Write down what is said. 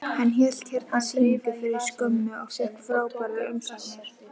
Hann hélt hérna sýningu fyrir skömmu og fékk frábærar umsagnir.